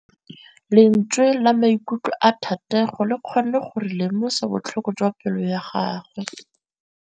Lentswe la maikutlo a Thategô le kgonne gore re lemosa botlhoko jwa pelô ya gagwe.